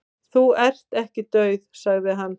"""Þú ert ekki dauð, sagði hann."""